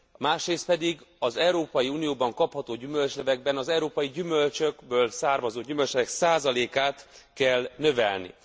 Másrészt pedig az Európai Unióban kapható gyümölcslevekben az európai gyümölcsökből származó gyümölcslevek százalékát kell növelni.